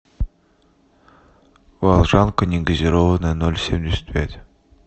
волжанка негазированная ноль семьдесят пять